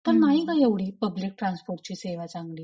तर नाही ग एवढी पब्लिक ट्रान्सपोर्टची सेवा चांगली.